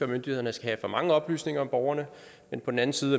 myndighederne skal have for mange oplysninger om borgerne men på den anden side